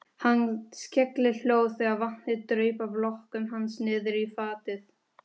Hann skellihló þegar vatnið draup af lokkum hans niðrí fatið.